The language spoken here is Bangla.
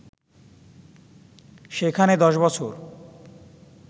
সেখানে ১০ বছর